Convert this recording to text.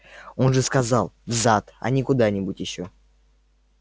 он же сказал в зад а не куда-нибудь ещё